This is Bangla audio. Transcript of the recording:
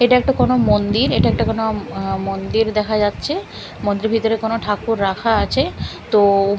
এটা একটা কোনো মন্দির এটা একটা কোনো আঃ মন্দির দেখা যাচ্ছে মন্দিরের ভিতরে কোনো ঠাকুর রাখা আছে তো--